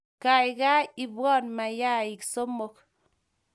Kaikai ipwon mayaik somok